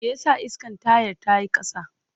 Me yasa iskan tayar ta yi ƙasa?